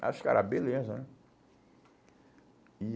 Aí os cara beleza, né? E